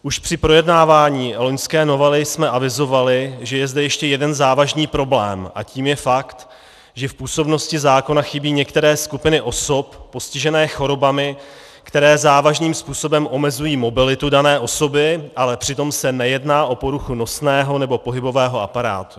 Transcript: Už při projednávání loňské novely jsme avizovali, že je zde ještě jeden závažný problém, a tím je fakt, že v působnosti zákona chybí některé skupiny osob postižené chorobami, které závažným způsobem omezují mobilitu dané osoby, ale přitom se nejedná o poruchu nosného nebo pohybového aparátu.